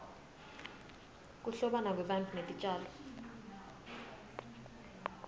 kuhlobana kwebantfu netitjalo